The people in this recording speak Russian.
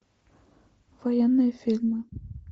военные фильмы